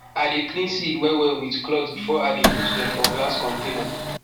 i dey clean seed well well with cloth before i dey put dem for glass container